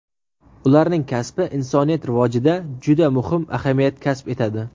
Ularning kasbi insoniyat rivojida juda muhim ahamiyat kasb etadi.